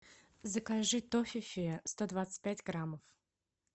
закажи тофифи сто двадцать пять граммов